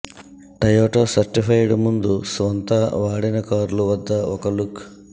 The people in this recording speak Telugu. టయోటా సర్టిఫైడ్ ముందు స్వంత వాడిన కార్లు వద్ద ఒక లుక్